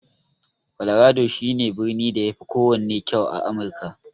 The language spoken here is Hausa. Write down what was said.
Colorado shi ne birnin da yafi kowanne kyau a Amirka.